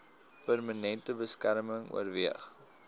permanente beskerming oorweeg